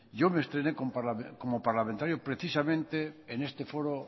yo me estrené como parlamentario precisamente en este foro